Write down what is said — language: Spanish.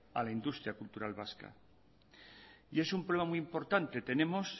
a la industria cultural vasca y es un problema muy importante tenemos